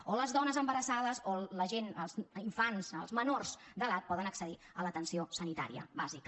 o les dones embarassades o la gent infants els menors d’edat poden accedir a l’atenció sanitària bàsica